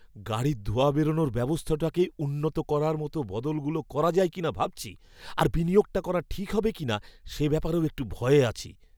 গাড়ির ধোঁয়া বেরনোর ব্যবস্থাটাকে উন্নত করার মতো বদলগুলো করা যায় কিনা ভাবছি, আর বিনিয়োগটা করা ঠিক হবে কিনা সে ব্যাপারেও একটু ভয়ে আছি।